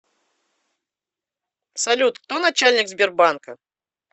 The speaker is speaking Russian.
салют кто начальник сбербанка